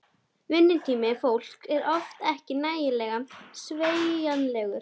Vinnutími fólks er oft ekki nægilega sveigjanlegur.